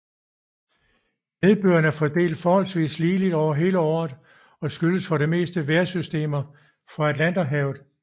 Nedbøren er fordelt forholdsvist ligeligt over hele året og skyldes for det meste vejrsystemer fra Atlanterhavet